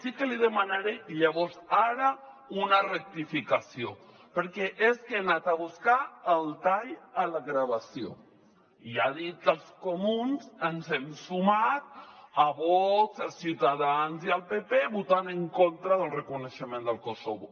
sí que li demanaré llavors ara una rectificació perquè és que he anat a buscar el tall a la gravació i ha dit que els comuns ens hem sumat a vox a ciutadans i al pp votant en contra del reconeixement de kosovo